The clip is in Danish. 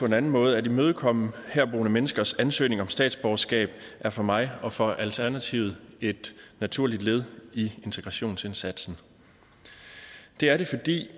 en anden måde at imødekomme herboende menneskers ansøgning om statsborgerskab er for mig og for alternativet et naturligt led i integrationsindsatsen det er det fordi